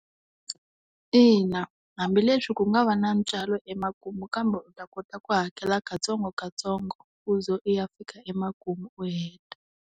Ina hambileswi ku nga va na ntswalo emakumu kambe u ta kota ku hakela katsongokatsongo u ze u ya fika emakumu u heta.